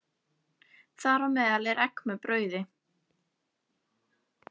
Þar á meðal er brauð með eggi.